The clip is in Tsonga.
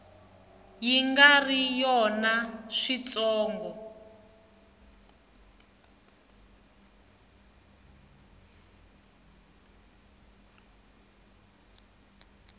yi nga ri yona switsongo